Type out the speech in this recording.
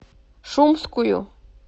шумскую